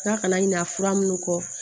N'a kana ɲina fura minnu kɔ